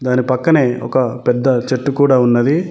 దాని పక్కనే ఒక పెద్ద చెట్టు కూడా ఉన్నది.